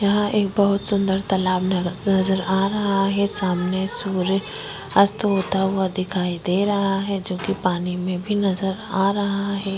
यहाँ पर एक बहुत सुंदर तालाब नज़र आ रहा है सामने सूर्य अस्त होता दिखाई दे रहा है जो पानी में भी नज़र आ रहा है।